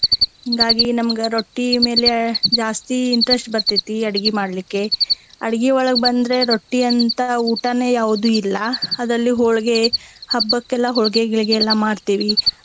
ಹಿಂಗಾಗಿ ನಮ್ಗ ರೊಟ್ಟಿ ಮೇಲೆ ಜಾಸ್ತಿ interest ಬರ್ತೆತಿ ಅಡಗಿ ಮಾಡ್ಲಿಕ್ಕೆ. ಅಡಗಿಯೊಳಗ ಬಂದ್ರ ರೊಟ್ಟಿ ಅಂತಾ ಊಟಾನ ಯಾವ್ದ ಇಲ್ಲಾ. ಅದ್ರಲ್ಲಿ ಹೊಳಗೆ ಹಬ್ಬಕ್ಕೆಲ್ಲಾ ಹೊಳ್ಗೆ ಗಿಳ್ಗೆ ಎಲ್ಲಾ ಮಾಡ್ತೇವಿ.